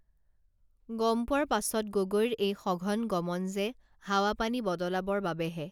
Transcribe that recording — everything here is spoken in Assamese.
গম পোৱাৰ পাছত গগৈৰ এই সঘন গমন যে হাৱা পানী বদলাবৰ বাবেহে